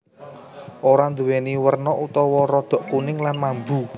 Ora nduwèni werna utawa rodok kuning lan mambu